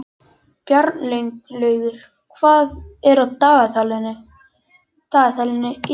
Bjarnlaugur, hvað er á dagatalinu í dag?